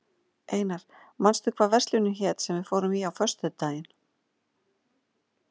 Einar, manstu hvað verslunin hét sem við fórum í á föstudaginn?